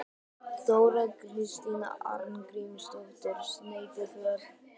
Þóra Kristín Arngrímsdóttir: Sneypuför?